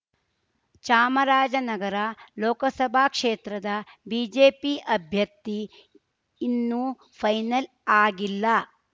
ಚಾಮರಾಜನಗರ ಲೋಕಸಭಾ ಕ್ಷೇತ್ರದ ಬಿಜೆಪಿ ಅಭ್ಯರ್ಥಿ ಇನ್ನೂ ಫೈನಲ್ ಆಗಿಲ್ಲ